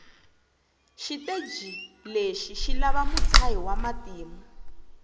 shiteji leshi shilava mutshayi wamatimu